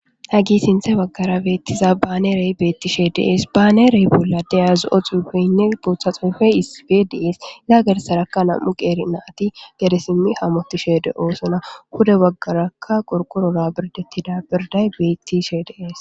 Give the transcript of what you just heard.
hagi sinthe baggara beettiza baane rey beetti shee dees baanerey bolla de azu7o xuufeynne booththa xoyfe isfe dees laagersarakka nam7u qeeri na ati gade simmi hamoti she de oosona huda waggarakka qorqorora birdettida birday beetti she deees